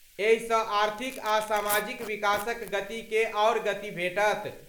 एहिसँ आर्थिक आ सामाजिक विकासक गतिके आओर गति भेटत।